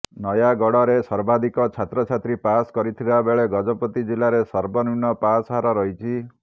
ନୟାଗଡ଼ରେ ସର୍ବାଧିକ ଛାତ୍ରଛାତ୍ରୀ ପାସ୍ କରିଥିବାବେଳେ ଗଜପତି ଜିଲ୍ଲାରେ ସର୍ବନିମ୍ନ ପାସ୍ ହାର ରହିଛି